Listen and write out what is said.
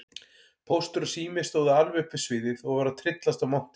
Póstur og Sími stóðu alveg upp við sviðið og voru að tryllast af monti.